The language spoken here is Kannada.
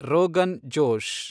ರೋಗನ್ ಜೋಶ್